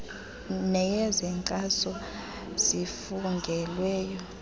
neyezo nkcazo zifungelweyo